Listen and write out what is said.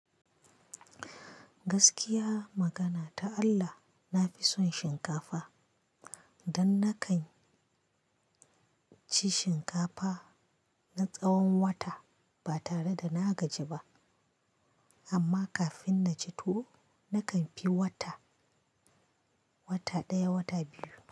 Gaskiya magana ta Allah, nafi son shinkafa. Dan na kan ci shinkafa na tsawon wata ba tare da na gaji ba. Amma kafin na ci tuwo, na kan fi wata, wata ɗaya, wata biyu.